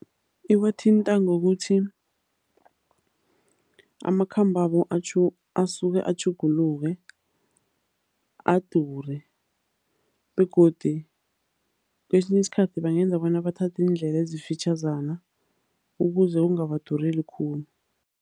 Iwathinta ngokuthi amakhambo asuke atjhuguluke adure begodi kwesinye isikhathi bangenza bona bathathe iindlela ezifitjhazana ukuze kungabadureli khulu.